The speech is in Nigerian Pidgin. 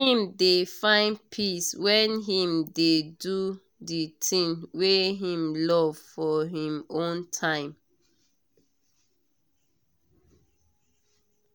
him dey find peace when him dey do the thing wey him love for him own time.